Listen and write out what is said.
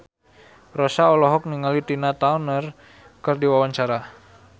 Rossa olohok ningali Tina Turner keur diwawancara